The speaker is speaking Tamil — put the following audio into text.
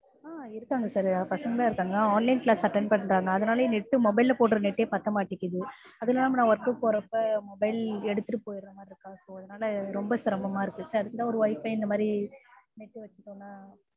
ஆஹ் இருக்கிறாங்க sir பசங்கல்லாம் இருக்கிறாங்க online class attend பண்றாங்க அதனாலேயே net mobile ல போடுற net ஏ பத்தமாட்டேங்குது அதும் இல்லாம நான் work க்கு போறப்ப mobile எடுத்துட்டு போயிற்றதுனால ரொம்ப சிரமமாய் இருக்கு sir அதுக்குதான் இந்த wifi இந்த மாதிரி net வச்சிட்டோம்னா